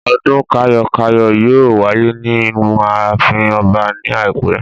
Ọdún kayo-kayo yóò wáyé ní inú ààfin ọba ni ẹ̀pẹ́.